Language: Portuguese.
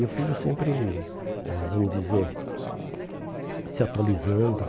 E o filho sempre, vamos dizer, se atualizando,